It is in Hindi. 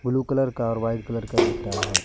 ब्लू कलर का और वाइट कलर का दिख रहा है।